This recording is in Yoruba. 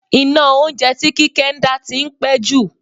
Iná oúnjẹ tí Kíkẹ́ ń dá tí ń pẹ́ jù.